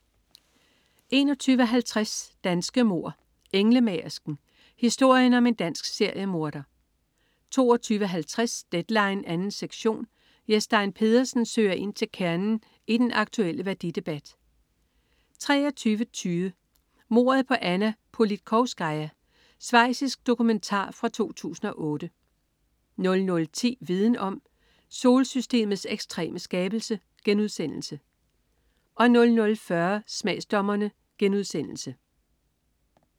21.50 Danske mord: Englemagersken. Historien om en dansk seriemorder 22.50 Deadline 2. sektion. Jes Stein Pedersen søger ind til kernen i den aktulle værdidebat 23.20 Mordet på Anna Politkovskaja. Schweizisk dokumentar fra 2008 00.10 Viden om: Solsystemets ekstreme skabelse* 00.40 Smagsdommerne*